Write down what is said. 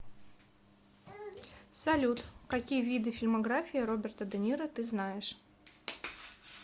салют какие виды фильмография роберта де ниро ты знаешь